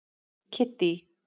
Kiddý